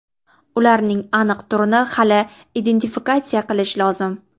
Ularning aniq turini hali identifikatsiya qilish lozim.